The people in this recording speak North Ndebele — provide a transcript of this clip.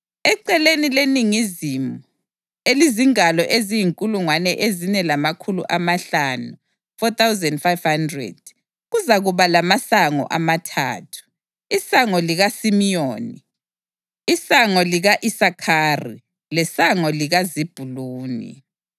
Eceleni leningizimu, elizingalo eziyinkulungwane ezine lamakhulu amahlanu (4,500), kuzakuba lamasango amathathu: isango likaSimiyoni, isango lika-Isakhari lesango likaZebhuluni.”